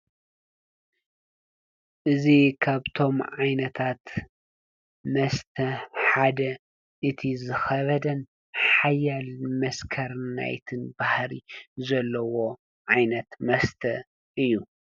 እዙይ ካብቶም ዓይነታት መስተ ሓደ እቲ ዝኸበደን ሓያል መስከርናይትን ባህሪ ዘለዎ ዓይነት መስተ እዩ።